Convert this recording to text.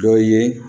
Dɔ ye